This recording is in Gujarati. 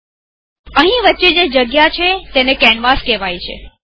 અહીં વચ્ચે જે જગ્યા છે તેને કેનવાસ કહેવાય છે